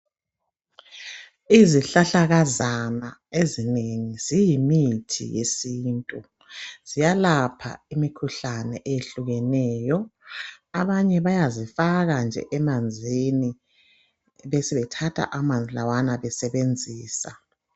Izihlahlakazana ezinengi ziyimithi yesintu ziyalapha imikhuhlane ehlukeneyo abanye bayazifaka nje emanzini besebethatha amanzi lawana besebenzisa